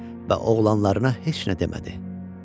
Və oğlanlarına heç nə demədi.